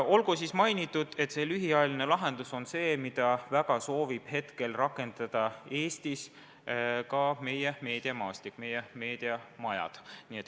Olgu siis mainitud, et lühiajaline lahendus on see, mida väga soovib praegu rakendada Eestis ka meie meediamaastik, meie meediamajad.